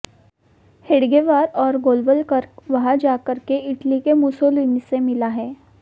हेडगेवार और गोलवलकर वहां जाकर के इटली के मुसोलिनी से मिला है